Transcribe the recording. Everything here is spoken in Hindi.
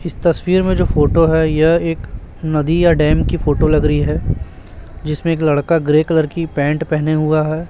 इस तस्वीर में जो फोटो हैं यह एक नदी या डैम की फोटो लग रही हैं जिसमें एक लड़का ग्रे कलर की पैंट पहने हुआ हैं।